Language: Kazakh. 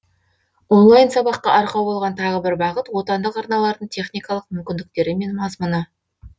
онлайн сабаққа арқау болған тағы бір бағыт отандық арналардың техникалық мүмкіндіктері мен мазмұны